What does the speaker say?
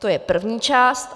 To je první část.